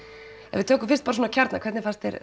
ef við tökum fyrst kjarnann hvernig fannst þér